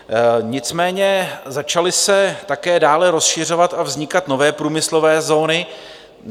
Nicméně začaly se také dále rozšiřovat a vznikat nové průmyslové zóny.